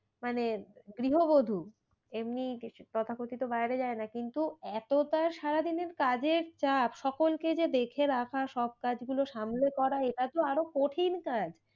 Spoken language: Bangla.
মানে গৃহবধূ মানে এমনি কিছু তথা কথিত বাইরে যায় না। কিন্তু এতো তার সারা দিনের কাজের চাপ সকলকে যে দেখে রাখা সব কাজ গুলো সামলে করা এটা তো আরো কঠিন কাজ।